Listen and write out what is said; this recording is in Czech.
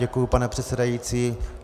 Děkuji, pane předsedající.